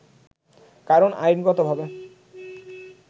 কারন আইনগতভাবে